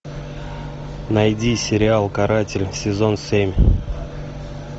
найди сериал каратель сезон семь